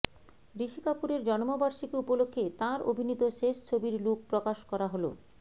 ঋষি কপুরের জন্মবার্ষিকী উপলক্ষে তাঁর অভিনীত শেষ ছবির লুক প্রকাশ করা হল